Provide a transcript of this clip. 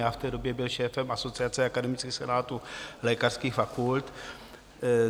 Já v té době byl šéfem asociace akademických senátů lékařských fakult.